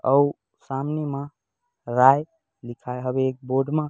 अऊ सामने म राय लिखाए हवे एक बोर्ड म--